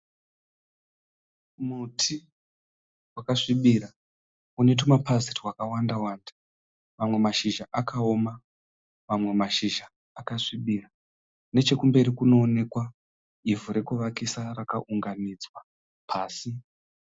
Muti wakasvibira une tumapazi twakawanda wanda, mamwe mashizha akawoma mamwe mashizha akasvibira, nechekumberi kunoonekwa ivhu rekuvakisa rakaunganidzwa pasi.